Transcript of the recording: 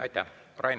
Aitäh!